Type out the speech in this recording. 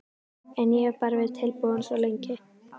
En ég hef bara verið tilbúinn svo lengi.